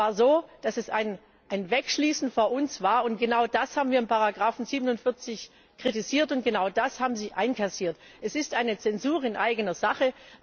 Es war so, dass es ein Wegschließen vor uns war, und genau das haben wir in Ziffer 47 kritisiert und genau das haben Sie einkassiert. Es ist eine Zensur in eigener Sache.